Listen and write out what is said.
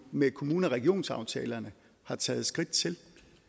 med kommune og regionsaftalerne har taget skridt til